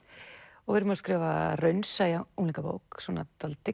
og við erum að skrifa raunsæja unglingabók dálítið